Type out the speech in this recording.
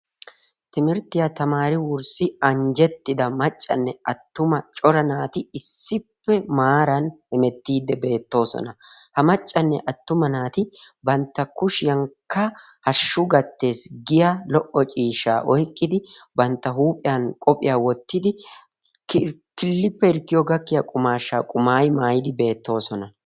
Timirttiya tamaari wussi anjjettida maccanne attuma cora naati issippe maaran hemettiiddi beettoosna. Ha maccanne attuma naati bantta kushiyankka hashshu gattees giya lo"o ciishshaa oyqqidi, bantta huuphiyan qophiya wottidi, killippe hirkkiyo gakkiya qumaashshaa qumaayi maayidi beettoosona.